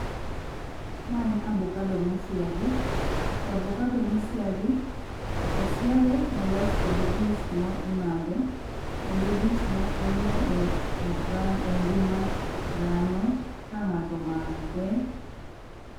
Ma en abokado mosiagi .To abokado mosiagi osiage molos kode juice ma imadho. Kendo juiceno konyo e oga engima dhano ka ng'ato omadhe.